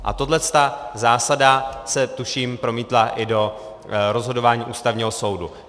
A tahle zásada se tuším promítla i do rozhodování Ústavního soudu.